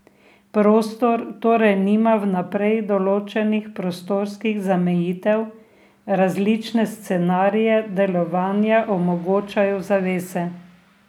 Prostor torej nima vnaprej določenih prostorskih zamejitev, različne scenarije delovanja omogočajo zavese.